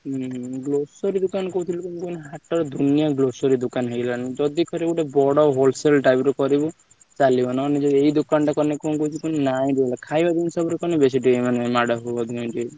ହୁଁ grocery ଦୋକାନ ହାଟ ରେ ଦୁନିଆ grocery ଦୋକାନ ହେଇଗଲାଣି ଯଦି କରିବ ଗୋଟେ ବଡ wholesale type ର କରିଲେ ଚାଲିବ ନହେଲେ ଏଇ ଦୋକାନ ଟା କଲେ କଣକଣ କହୁଛି କୁହନି ନାଁ ଖାଇବା ଜିନିଷ ଉପରେ ଦୋକନ ବେଶୀ,